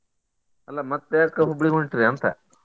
ಅಲ್ಲಾ ಮತ್ತ ಯಾಕ Hubli ಗ್ ಹೊಂಟ್ರೀ ಅಂತ?